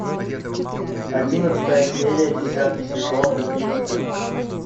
одиннадцатая серия десятый сезон убить скуку